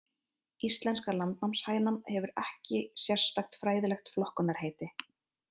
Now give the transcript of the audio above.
Íslenska landnámshænan hefur ekki sérstakt fræðilegt flokkunarheiti.